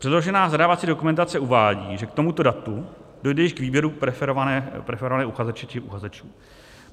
Předložená zadávací dokumentace uvádí, že k tomuto datu dojde již k výběru preferovaného uchazeče či uchazečů.